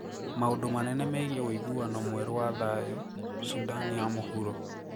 Maũndũ manene megiĩ ũiguano mwerũ wa thayu Sudan ya mũhuro